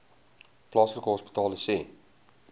plaaslike hospitale sê